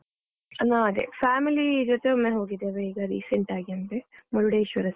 ಅದೆ family ಜೊತೆ ಒಮ್ಮೆ ಹೋಗಿದ್ದೇವೆ ಈಗ recent ಆಗಿ ಅಂದ್ರೆ ಮುರುಡೇಶ್ವರಾ side .